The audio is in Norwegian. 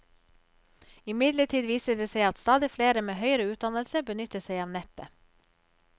Imidlertid viser det seg at stadig flere med høyere utdannelse benytter seg av nettet.